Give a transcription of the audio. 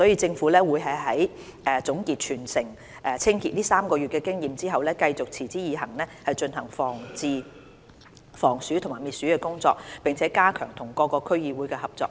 政府會在總結全城清潔這3個月的經驗後，繼續持之以恆進行防鼠及滅鼠工作，並加強與各區區議會的合作。